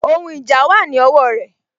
Ohun ìjà wà ní ọwọ rẹ